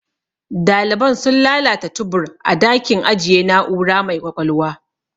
Daliban sun lalata tubur a dakin ajiye na'ura mai ƙwaƙwalwa.